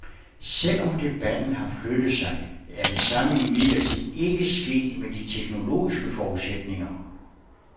Selv om debatten har flyttet sig, er det samme imidlertid ikke sket med de teknologiske forudsætninger.